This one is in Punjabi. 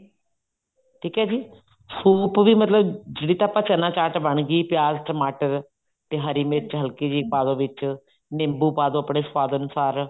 ਠੀਕ ਹੈ ਜੀ ਸੂਪ ਵੀ ਮਤਲਬ ਜਿਹੜਾ ਤਾਂ ਚਨਾ ਚਾਟ ਬਣਗੀ ਮਤਲਬ ਪਿਆਜ ਟਮਾਟਰ ਤੇ ਹਰੀ ਮਿਰਚ ਹਲਕੀ ਜੀ ਪਾਦੋ ਵਿੱਚ ਨਿੰਬੂ ਪਾ ਦੋ ਆਪਣੇ ਸਵਾਦ ਅਨੁਸਾਰ